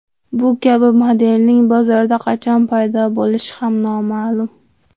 Bu kabi modelning bozorda qachon paydo bo‘lishi ham noma’lum.